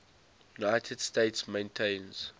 united states maintains